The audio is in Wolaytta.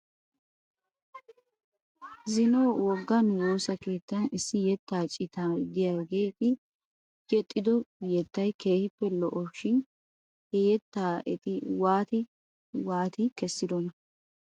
Zino woggaa nu woosa keettan issi yettaa cita diyaageeti yexxido yettay keehippe lo'es shin he yettaa eti waati wati kessidonaa?